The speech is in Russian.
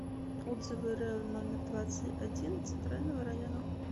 отзывы рэу номер двадцать один центрального района